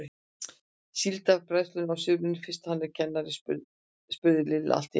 Síldarbræðslunni á sumrin fyrst hann er kennari? spurði Lilla allt í einu.